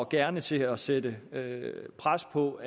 gerne til at sætte pres på